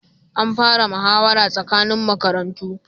An fara muhawara tsakanin makarantu